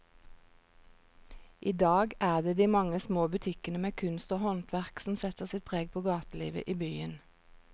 I dag er det de mange små butikkene med kunst og håndverk som setter sitt preg på gatelivet i byen.